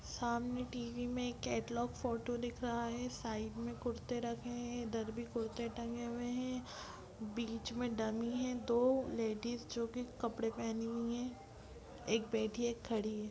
सामने टीवी में catalogue photo दिख रहा है। साइड में कुर्ते रखे हैं। इधर भी कुर्ते टंगे हैं। बीच में डमी है। दो लेडिज जो कि कपड़े पहनी हुई हैं। एक बैठी है एक खड़ी है।